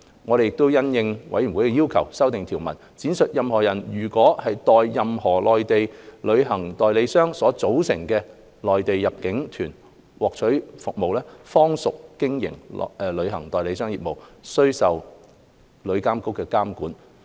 我們亦因應委員的要求，修訂條文，闡明任何人如代任何內地旅行代理商所組織的內地入境團獲取服務，方屬經營旅行代理商業務，須受旅監局監管。